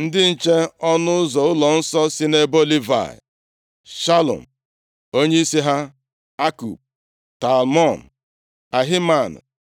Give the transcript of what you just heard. Ndị nche ọnụ ụzọ ụlọnsọ si nʼebo Livayị: Shalum, onyeisi ha, Akub, Talmon, Ahiman